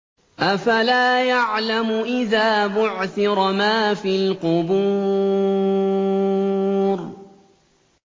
۞ أَفَلَا يَعْلَمُ إِذَا بُعْثِرَ مَا فِي الْقُبُورِ